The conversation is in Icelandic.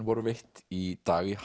voru veitt í dag í